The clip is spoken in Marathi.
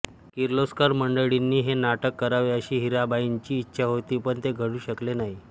किर्लोस्कर मंडळींनी हे नाटक करावे अशी हिराबाईंची इच्छा होती पण ते घडू शकले नाही